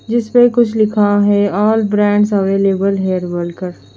जिसपे कुछ लिखा है और brands here available hair oil का--